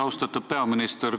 Austatud peaminister!